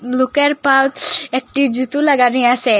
লুকের পাউচ একটি জুতো লাগানি আসে।